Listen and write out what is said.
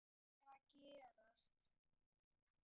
HVAÐ ER AÐ GERAST?